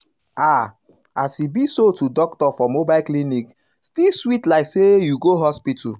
ah as um e be so to um doctor for mobile clinic still sweet like say you go hospital.